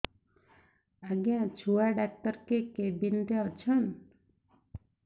ଆଜ୍ଞା ଛୁଆ ଡାକ୍ତର କେ କେବିନ୍ ରେ ଅଛନ୍